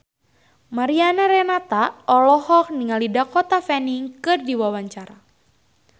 Mariana Renata olohok ningali Dakota Fanning keur diwawancara